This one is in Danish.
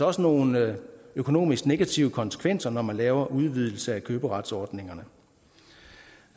også nogle økonomisk negative konsekvenser når man laver en udvidelse af køberetsordningerne